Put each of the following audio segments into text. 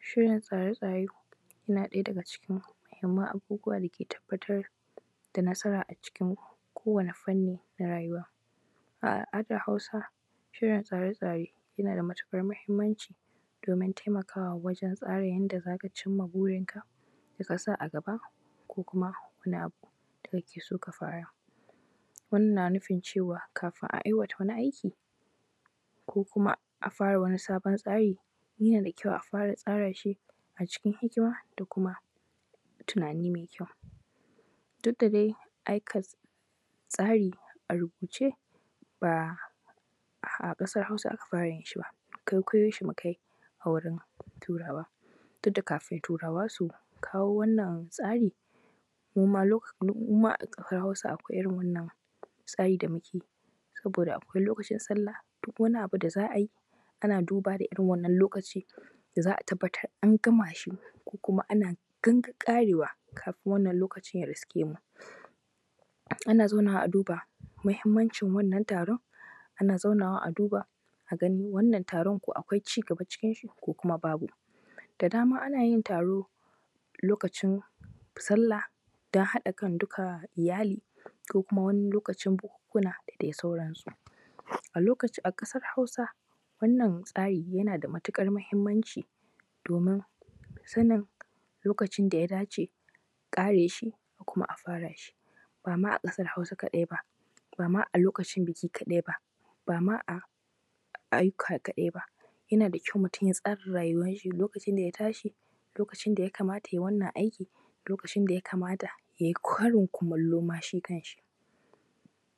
Shirin tsare-tsare yana daga cikin muhimman abubuwa da ke tabbatar da nasara a cikin kowane fanni na rayuwa. A al’adar Hausa, shirin tsare-tsare yana da matuƙar muhimmanci domin taimakawa wajen yadda z aka cimma burinka da kasa a gaba kuma wani abu da ake so ka fara. Wannan na nufin ka fin a ayyyaka wani aiki ko kuma a fara wani sabon tsari yana da kyau a fara tsara shi, a cikin hikima da tunani mai kyau, duk da dai aika tsari a rubuce ba a ƙasar Hausa aka fara yin shi ba, kwaikwayon shi muka yi a wurin turawa. Duk da kafin turawa su kawo wannan tsarin mu ma a ƙasar Hausa akwai irin wannnan tsari da muke, saboda akwai lokacin sallah da duk wani abu da za a yi a duba da airin wannan lokaci, za a tabbatar da an gama shi ko kuma ana ƙarewa kafin wannan lokacin ya iske mu. Ana zauna a duba muhimmancin wannan taron,a ana zauna a duba a gani wannan taron ko akwai cigaba cikin shi ko kuma babu. Da dama ana yin taro lokacin sallah don haɗan kan duka iyali ,T=Orthography,B=83221,E=85742 A loka a ƙasar Hausa wannan tsari yana da matuƙar muhimmanci domin sanin lokacin da ya dace a ƙare shi kuma a fara shi. Ba ma a ƙasar Hausa kaɗai ba, ba ma a lokacin buki kaɗqi ba, ba ma a ayyuka kaɗai ba, yana da kyau mutum ya tsara rayuwan shi a lokacin da ya tashi lokacin da yakamata ya yi wannan aiki lokacin da yakamata yay i karin kumallo shi kan shi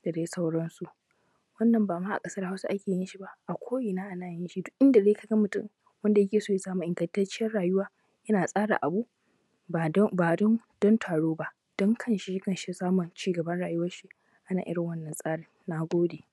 da dai sauransu. Wannan ba ma a ƙasar Hausa ake yin shi ba a ko’ina ma ana yin shi, duk inda dai ka ga mutum wanda yake so ya samu ingantacciyar rayuwa, yana tsara abu aba dun taro ba dun kanshi, ya samu cigaban rayuwan shi ana yrin wannan tsarin. Na gode.